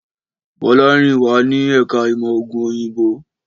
Bọ́lárìnwá wá ní Ẹ̀ka ìmọ̀ ògùn òyìnbó